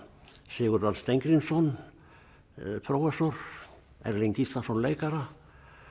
Sigurð Örn Steingrímsson prófessor Erling Gíslason leikara